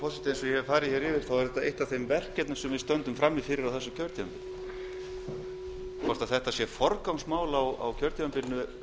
hef farið hér yfir er þetta eitt af þeim verkefnum sem við stöndum frammi fyrir á þessu kjörtímabili hvort þetta sé forgangsmál á kjörtímabilinu